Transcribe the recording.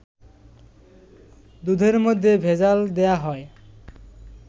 দুধের মধ্যে ভেজাল দেয়া হয়